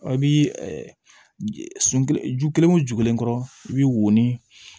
A bi sun ju kelen wo ju kelen kɔrɔ i bi wori